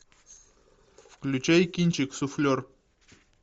включай кинчик суфлер